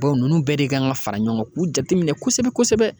Baw n'u bɛɛ de kan ka fara ɲɔgɔn k'u jateminɛ kosɛbɛ kosɛbɛ